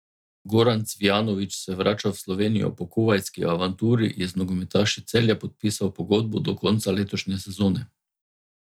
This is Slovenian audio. Goran Cvijanović se vrača v Slovenijo, po kuvajtski avanturi je z nogometaši Celja podpisal pogodbo do konca letošnje sezone.